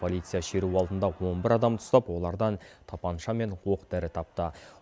полиция шеру алдында он бір адамды ұстап олардан тапанша мен оқ дәрі тапты